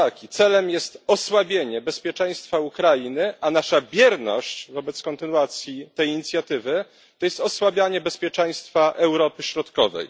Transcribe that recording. Celem jest osłabienie bezpieczeństwa Ukrainy, a nasza bierność wobec kontynuacji tej inicjatywy to w efekcie osłabianie bezpieczeństwa Europy Środkowej.